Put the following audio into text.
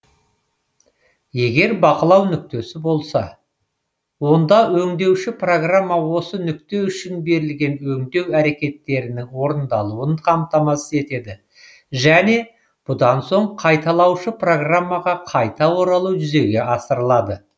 егер бақылау нүктесі болса онда өңдеуші программа осы нүкте үшін берілген өңдеу әрекеттерінің орындалуын қамтамасыз етеді және бұдан соң қайталаушы программаға қайта оралу жүзеге асырылады